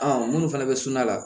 minnu fana bɛ suma la